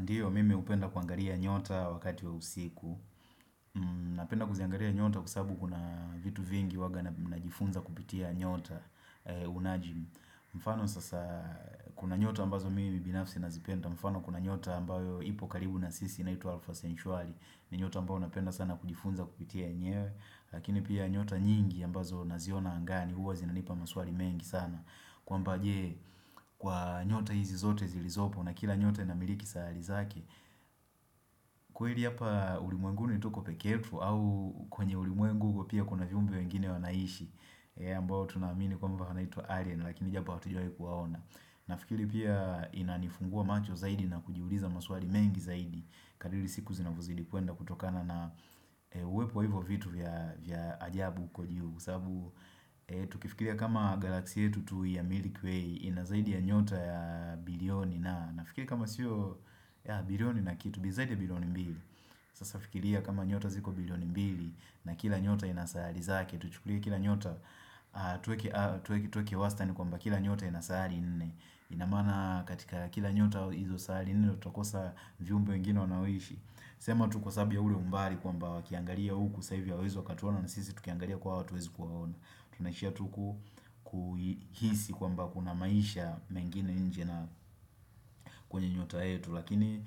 Ndiyo mimi hupenda kuangalia nyota wakati wa usiku Napenda kuziangalia nyota kwa sababu kuna vitu vingi huwa na jifunza kupitia nyota unajim mfano sasa kuna nyota ambazo mimi binafsi nazipenda mfano kuna nyota ambayo ipo karibu na sisi inaitwa alfa sentuari. Ni nyota ambayo napenda sana kujifunza kupitia nyenyewe, Lakini pia nyota nyingi ambazo naziona angani huwa zinanipa maswali mengi sana kwamba je kwa nyota hizi zote zilizopo na kila nyota ina miliki sahari zake kweli hapa ulimwenguni tuko pekee yetu au kwenye ulimuengu huko pia kuna viumbe wengine wanaishi ambao tunamini kwamba wanaitwa alien lakini japo hatujawai kuwaona. Nafikiri pia inanifungua macho zaidi na kujiuliza maswali mengi zaidi Kadiri siku zinavozidi kuenda kutokana na uwepo hivo vitu vya ajabu huko juu Kwa sababu tukifikiria kama galaxia yetu tu ya Milky Way inazaidi ya nyota ya bilioni na nafikiri kama sio bilioni na kitu zaidi ya bilioni mbili Sasa fikiria kama nyota ziko bilioni mbili na kila nyota inasahari zake Tuchukulie kila nyota tuweke wastani kwamba kila nyota ina sahari nne, inamaana katika kila nyota izo sahari nne utakosa viumbe wengine wanaoishi? Sema tuko kwa sababu ya ule umbali kwamba wakiangalia uku saa hivi hawawezi wakatuona na sisi tukiangalia kwao hatuwezi kuwaona Tunashia tu kuhisi kwamba kuna maisha mengine nje na kwenye nyota yetu Lakini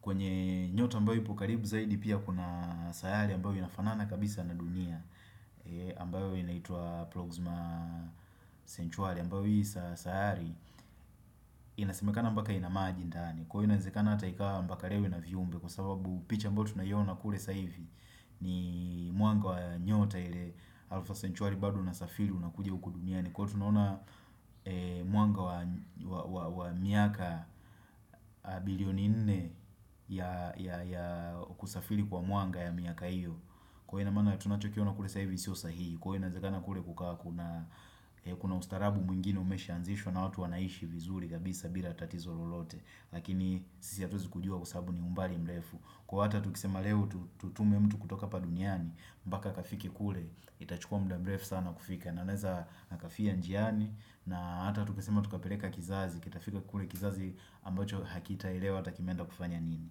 kwenye nyota ombayo ipo karibu zaidi pia kuna sayari mbao inafanana kabisa na dunia ambayo inaitwa proxima sentuari ambao hii sayari Inasimekana mpaka ina maji ndani Kwaiyo inawezekana hata ikawa mpaka leo ina viumbe kwa sababu picha ambao tunaiona kule saa hivi ni mwanga wa nyota ile alfa sentuari badu una safiri unakuja huku duniani Kwaiyo tunona mwanga wa miaka bilioni nne ya kusafiri kwa mwanga ya miaka iyo, kwa ina maana tunachokiona kule saa hivi sio sahihi Kwa inazekana kule kukawa kuna ustaarabu mwingine umeshaanzishwa na hatu wanaishi vizuri kabisa bila tatizo lolote Lakini sisi hatuwezi kujua kusabu ni umbali mrefu. Kwa hata tukisema leo tutume mtu kutoka hapa duniani mpaka akafike kule, itachukua mda mrefu sana kufika na anaweza akafia njiani na hata tukisema tukapeleka kizazi Kitafika kule kizazi ambacho hakita elewa hata kimeenda kufanya nini.